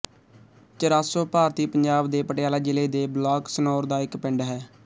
ਚਰਾਸੋ ਭਾਰਤੀ ਪੰਜਾਬ ਦੇ ਪਟਿਆਲਾ ਜ਼ਿਲ੍ਹੇ ਦੇ ਬਲਾਕ ਸਨੌਰ ਦਾ ਇੱਕ ਪਿੰਡ ਹੈ